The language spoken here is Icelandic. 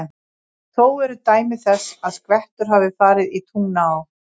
Þó eru dæmi þess, að skvettur hafa farið í Tungnaá.